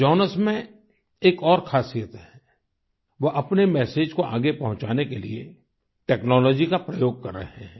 Jonas में एक और खासियत है वो अपने मैसेज को आगे पहुंचाने के लिए टेक्नोलॉजी का प्रयोग कर रहे हैं